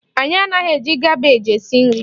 Anyị anaghị eji kabeeji esi nri